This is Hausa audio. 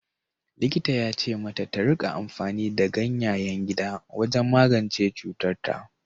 Likitan ya ce mata ta rika amfani da ganyayen gida wajen magance cutarta.